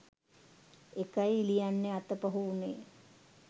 ඒකයි ලියන්න අතපහු උනේ